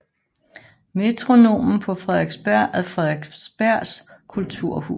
Metronomen på Frederiksberg er Frederiksbergs kulturhus